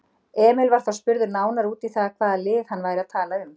Emil var þá spurður nánar út í það hvaða lið hann væri að tala um?